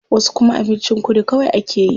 Wasu kuma abincin kudu kawai akeyi.